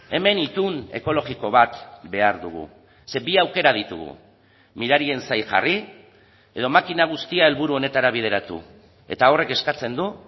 hemen itun ekologiko bat behar dugu zeren bi aukera ditugu mirarien zain jarri edo makina guztia helburu honetara bideratu eta horrek eskatzen du